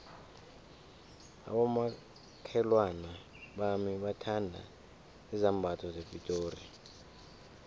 abomakhelwana bami bathanda izambatho zepitori